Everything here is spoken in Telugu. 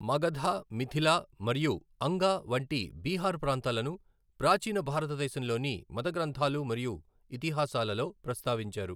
మగధ, మిథిల మరియు అంగ వంటి బీహార్ ప్రాంతాలను ప్రాచీన భారతదేశంలోని మత గ్రంథాలు మరియు ఇతిహాసాలలో ప్రస్తావించారు.